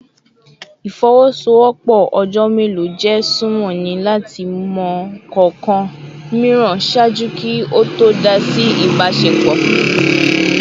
Ifowosowopo ojo melo je sunmọ ni lati mọ kọọkan miiran ṣaaju ki o to dá si a ibasepo